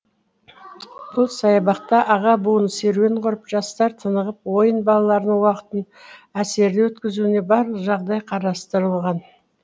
бұл саябақта аға буын серуен құрып жастар тынығып ойын балаларының уақытын әсерлі өткізуіне барлық жағдай қарастырылған